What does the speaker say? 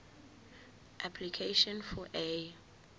application for a